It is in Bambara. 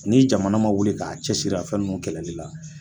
Ni jamana ma wili k'a cɛsiri a fɛn nunnu kɛlɛli la